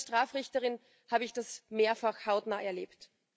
Als ehemalige Strafrichterin habe ich das mehrfach hautnah erlebt.